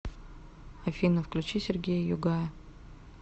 афина включи сергея югая